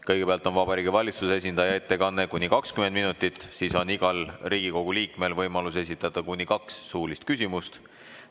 Kõigepealt on Vabariigi Valitsuse esindaja ettekanne kuni 20 minutit, siis on igal Riigikogu liikmel võimalus esitada kuni kaks suulist küsimust.